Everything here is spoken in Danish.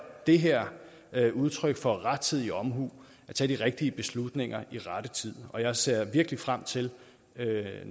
det her et udtryk for rettidig omhu at tage de rigtige beslutninger i rette tid og jeg ser virkelig frem til